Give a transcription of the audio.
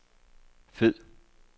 fed